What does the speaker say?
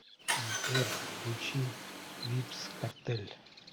сбер включи вибз картель